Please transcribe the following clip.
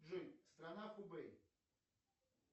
джой страна хубэй